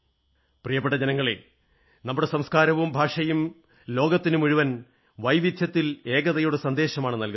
പ്രിയപ്പെട്ട ജനങ്ങളേ നമ്മുടെ സംസ്കാരവും ഭാഷകളും ലോകത്തിനുമുഴുവൻ വൈവിധ്യത്തിൽ ഏകതയുടെ സന്ദേശമാണ് നല്കുന്നത്